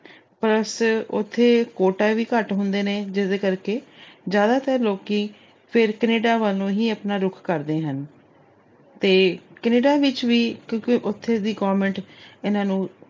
plus ਉੱਥੇ hotel ਵੀ ਘੱਟ ਹੁੰਦੇ ਨੇ, ਜਿਸਦੇ ਕਰਕੇ ਜਿਆਦਾਤਰ ਲੋਕੀ ਫਿਰ Canada ਵੱਲ ਨੂੰ ਹੀ ਆਪਣਾ ਰੁਖ ਕਰਦੇ ਹਨ ਤੇ Canada ਵਿੱਚ ਵੀ ਕਿਉਂਕਿ ਉੱਥੇ ਦੀ government ਇਹਨਾਂ ਨੂੰ